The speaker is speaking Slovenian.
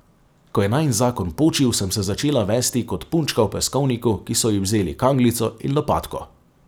Ko je najin zakon počil, sem se začela vesti kot punčka v peskovniku, ki so ji vzeli kanglico in lopatko.